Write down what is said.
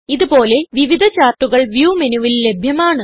ഇത് പോലെ വിവിധ ചാർട്ടുകൾ വ്യൂ മെനുവിൽ ലഭ്യമാണ്